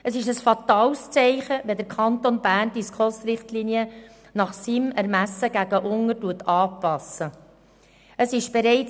Es wäre ein fatales Zeichen, wenn der Kanton Bern die SKOS-Richtlinien nach seinem Ermessen nach unten anpassen würde.